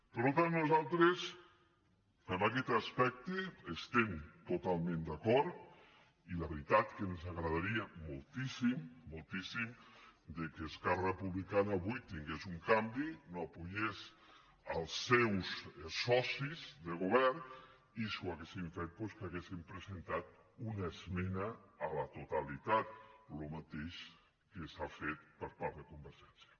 per tant nosaltres en aquest aspecte hi estem totalment d’acord i la veritat que ens agradaria moltíssim moltíssim que esquerra republicana avui tingués un canvi no donés suport als seus socis de govern i si ho feien doncs que haguessin presentat una esmena a la totalitat el mateix que s’ha fet per part de convergència